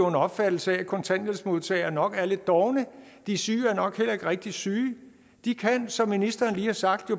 en opfattelse af at kontanthjælpsmodtagere nok er lidt dovne de syge er nok heller ikke rigtig syge de kan som ministeren lige har sagt